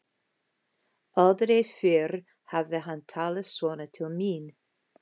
Aldrei fyrr hafði hann talað svona til mín.